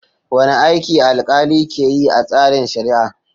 Wane aiki alkali ke yi a tsarin shari'a?